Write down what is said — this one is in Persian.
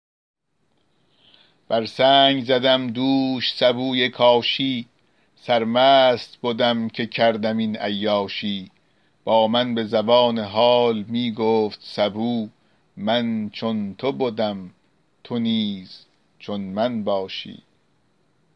بر سنگ زدم دوش سبوی کاشی سرمست بدم که کردم این عیاشی با من به زبان حال می گفت سبو من چون تو بدم تو نیز چون من باشی